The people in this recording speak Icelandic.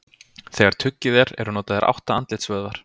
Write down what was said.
Þegar tuggið er eru notaðir átta andlitsvöðvar.